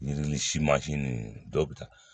Yiri ni si mansin ninnu dɔw bɛ taa